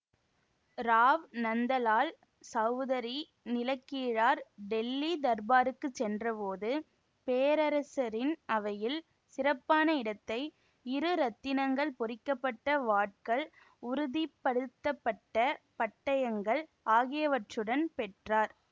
ராவ் நந்தலால் சௌதரி நிலக்கிழார்டெல்லி தர்பாருக்குச் சென்றபோது பேரரசரின் அவையில் சிறப்பான இடத்தை இரு இரத்தினங்கள் பொறிக்க பட்ட வாட்கள் உறுதி படுத்த பட்ட பட்டயங்கள் ஆகியவற்றுடன் பெற்றார்